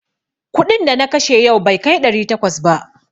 Kuɗin da na kashe yau bai kai ɗari takwas ba.